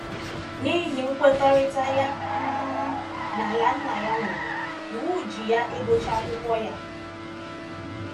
N’ihi nkwekọrịta ya um na ala nna ya nwere, iwu ji ya ịgụcha akwụkwọ ya.